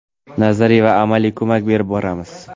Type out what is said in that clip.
nazariy va amaliy ko‘mak berib boramiz.